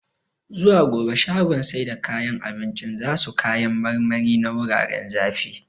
Zuwa gobe shagon sai da kayan abincin zasu kayan marmari na wuraren zafi